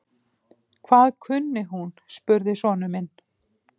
Hvað kunni hún? spurði sonur minn.